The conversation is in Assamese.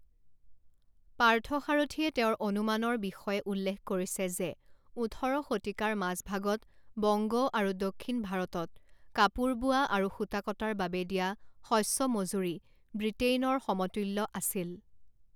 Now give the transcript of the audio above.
পাৰ্থসাৰথিয়ে তেওঁৰ অনুমানৰ বিষয়ে উল্লেখ কৰিছে যে ওঠৰ শতিকাৰ মাজভাগত বংগ আৰু দক্ষিণ ভাৰতত কাপোৰ বোৱা আৰু সূতা কটাৰ বাবে দিয়া শস্য মজুৰি ব্ৰিটেনইৰ সমতুল্য আছিল।